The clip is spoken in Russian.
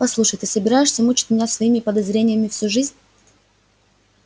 послушай ты собираешься мучить меня своими подозрениями всю жизнь